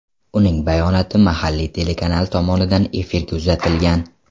Uning bayonoti mahalliy telekanal tomonidan efirga uzatilgan.